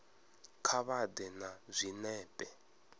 kha vha ḓe na zwinepe